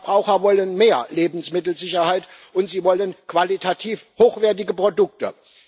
Die Verbraucher wollen mehr Lebensmittelsicherheit, und sie wollen qualitativ hochwertige Produkte.